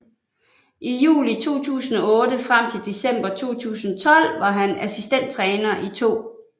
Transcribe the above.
I juli 2008 frem til december 2012 var han assistenttræner i 2